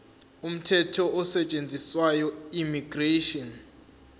umthetho osetshenziswayo immigration